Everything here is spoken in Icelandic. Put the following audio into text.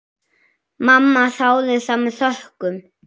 Mamma þáði það með þökkum.